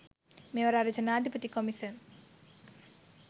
මෙවත් අර ජනාදිපති කොමිසම්